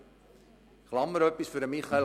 Eine Klammerbemerkung zu Grossrat